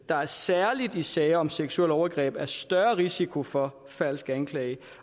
der særlig i sager om seksuelt overgreb er større risiko for falsk anklage